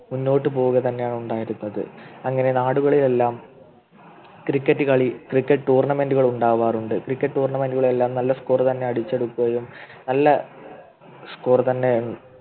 മുന്നോട്ടുപോവുക തന്നെയാണ് ഉണ്ടായത് അങ്ങനെ നാടുകളിൽ എല്ലാം Cricket കളി Cricket Tournament കൾ ഉണ്ടാവാറുണ്ട് Cricket Tournament കൾ എല്ലാം നല്ല Score തന്നെ അടിച്ചെടുക്കുകയും നല്ല Score തന്നെ